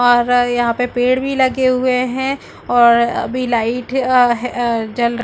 और यहाँ पे पेड़ भी लगे हुए है और अभी लाइट अ ह अ जल --